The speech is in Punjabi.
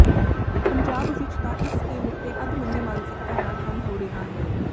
ਪੰਜਾਬ ਵਿੱਚ ਤਾਂ ਇਸ ਸਕੀਮ ਉੱਤੇ ਅੱਧਮੰਨੀ ਮਾਨਸਿਕਤਾ ਨਾਲ ਕੰਮ ਹੋ ਰਿਹਾ ਹੈ